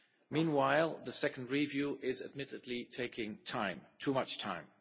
Meanwhile, the second review is, admittedly, taking too much time.